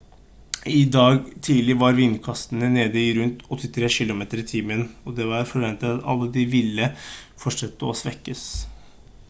i dag tidlig var vindkastene nede i rundt 83 km/t og det var forventet at de ville fortsette å svekkes